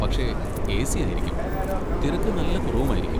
പക്ഷെ എ.സി. ആയിരിക്കും, തിരക്ക് നല്ല കുറവുമായിരിക്കും.